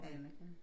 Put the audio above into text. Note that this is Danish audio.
Aner ikke noget